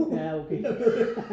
Ja okay